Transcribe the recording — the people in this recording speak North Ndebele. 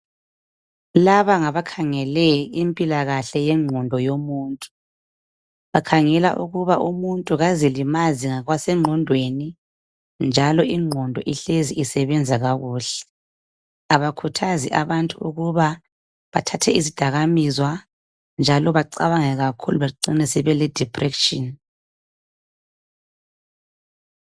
Laba ngabakhangele impilakahle yengqondo yomuntu bakhangela ukuba umuntu kazilimazi ngokwase ngqondweni njalo ingqondo ihlezi isebenza kakuhle abakhuthazi abantu ukuba bethathe izidakamizwa njalo bacabange kakhulu becine sebele depression.